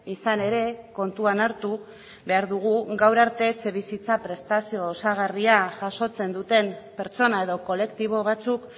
izan ere kontuan hartu behar dugu gaur arte etxebizitza prestazio osagarria jasotzen duten pertsona edo kolektibo batzuk